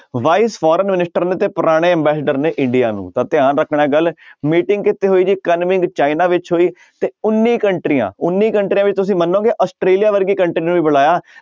Vice foreign minister ਨੇ ਤੇ ਪੁਰਾਣੇ ambassador ਨੇ ਇੰਡੀਆ ਨੂੰ ਤਾਂ ਧਿਆਨ ਰੱਖਣਾ ਇਹ ਗੱਲ meeting ਕਿੱਥੇ ਹੋਈ ਜੀ ਕਨਮਿੰਗ ਚਾਈਨਾ ਵਿੱਚ ਹੋਈ ਤੇ ਉੱਨੀ ਕੰਟਰੀਆਂ ਉੱਨੀ ਕੰਟਰੀਆਂ ਵਿੱਚ ਤੁਸੀਂ ਮੰਨੋਗੇ ਆਸਟ੍ਰੇਲੀਆ ਵਰਗੀ country ਨੂੰ ਵੀ ਬੁਲਾਇਆ।